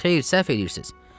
Xeyr, səhv eləyirsiz.